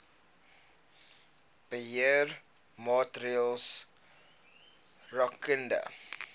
beheer maatreëls rakende